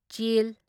ꯆ